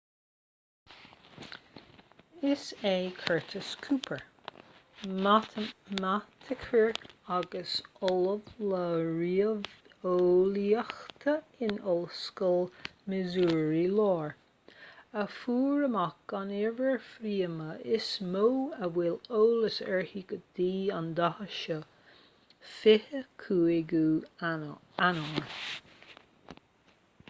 is é curtis cooper matamaiticeoir agus ollamh le ríomheolaíocht in ollscoil missouri láir a fuair amach an uimhir phríomha is mó a bhfuil eolas uirthi go dtí an dáta seo 25ú eanáir